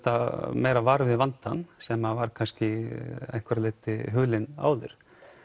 meira vör við vandann sem var kannski að einhverju leyti hulinn áður